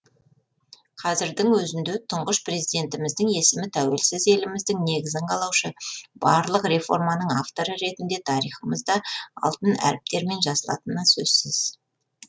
қазірдің өзінде тұңғыш президентіміздің есімі тәуелсіз еліміздің негізін қалаушы барлық реформаның авторы ретінде тарихымызда алтын әріптермен жазылатыны сөзсіз